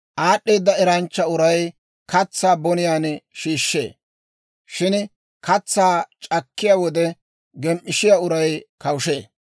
Aad'd'eeda eranchcha uray katsaa boniyaan shiishshee; shin katsaa c'akkiyaa wode gem"ishshiyaa uray kawushee.